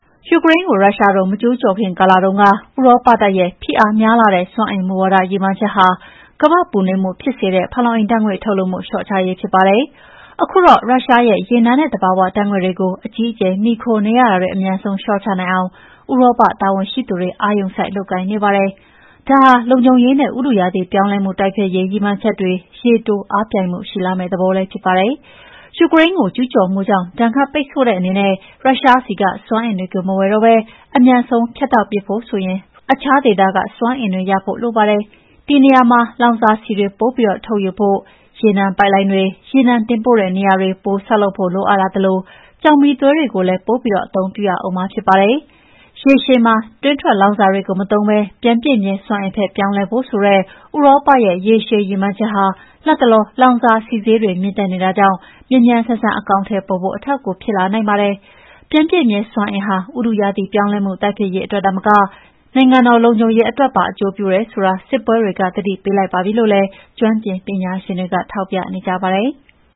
ယူကရိန်းကို ရုရှားတို့ မကျူးကျော်ခင် ကာလတုန်းက ဥရောပတိုက်ရဲ့ ဖိအားများလှတဲ့ စွမ်းအင်မူဝါဒ ရည်မှန်းချက်ဟာ ကမ္ဘာ့ပူနွေးမှုဖြစ်စေတဲ့ ဖန်လုံအိမ်ဓာတ်ငွေ့ ထုတ်လွှတ်မှု လျှော့ချရေး ဖြစ်ပါတယ်။ ခုတော့ ရုရှားရဲ့ ရေနံနဲ့ သဘာဝဓာတ်ငွေ့တွေကို အကြီးအကျယ် မှီခိုနေရတာတွေ အမြန်ဆုံး လျှော့ချနိုင်အောင် ဥရောပ တာဝန်ရှိသူတွေ အာရုံစိုက် လုပ်ကိုင်နေပါပြီ။ ဒါဟာ လုံခြုံရေးနဲ့ ဥတုရာသီ ပြောင်းလဲမှု တိုက်ဖျက်ရေး ရည်မှန်းချက်တွေ ရေတိုအားပြိုင်မှုှ ရှိလာမယ့် သဘောလည်း ဖြစ်ပါတယ်။ ယူကရိန်းကို ကျူးကျော်မှုကြောင့် ဒဏ်ခတ်ပိတ်ဆို့တဲ့အနေနဲ့ ရုရှားဆီက စွမ်းအင်တွေကို မဝယ်တော့ဘဲ အမြန်ဆုံး ဖြတ်တောက်ပစ်ဖို့ဆိုရင် တခြားဒေသက စမ်းအင်တွေ ရဖို့လိုပါတယ်။ ဒီနေရာမှာ လောင်စာဆီတွေ ပိုထုတ်ယူဖို့၊ ရေနံပိုက်လိုင်းတွေ၊ ရေနံတင်ပို့တဲ့ နေရာတွေ ပိုဆောက်လုပ်ဖို့ လိုအပ်လာသလို ကျောက်မီးသွေးတွေကိုလည်း ပိုပြီး အသုံးပြုရဦးမှာ ဖြစ်ပါတယ်။ ရေရှည်မှာ တွင်းထွက်လောင်စာတွေကို မသုံးဘဲ ပြန်ပြည့်မြဲစွမ်းအင်ဘက် ပြောင်းလဲဖို့ဆိုတဲ့ ဥရောပရဲ့ ရေရှည်ရည်မှန်းချက်ဟာ လတ်တလော လောင်စာဆီဈေးတွေ မြင့်တက်နေတာကြောင့် မြန်မြန်ဆန်ဆန် အကောင်အထည်ပေါ်ဖို့ အထောက်အကူ ဖြစ်လာနိုင်ပါတယ်။ ပြန်ပြည့်မြဲစွမ်းအင်ဟာ ဥတုရာသီပြောင်းလဲမှု တိုက်ဖျက်ရေးအတွက်သာမက နိုင်ငံတော် လုံခြုံရေးအတွက်မှာ အကျိုးပြုတယ်ဆိုတာ စစ်ပွဲတွေက သတိပေးလိုက်ပါပြီလို့လည်း ကျွမ်းကျင်ပညာရှင်တွေက ထောက်ပြနေကြပါတယ်။